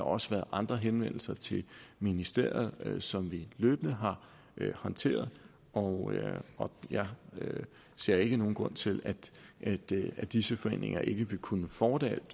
også været andre henvendelser til ministeriet som vi løbende har håndteret og jeg ser ikke nogen grund til at at disse foreninger ikke vil kunne fortsætte